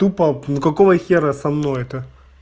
топа ну какого хера со мной это